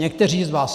Někteří z vás.